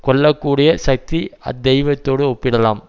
கொள்ள கூடிய சக்தி அத்தெய்வத்தோடு ஒப்பிடலாம்